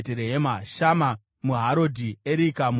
Shama muHarodhi, Erika muHarodhi,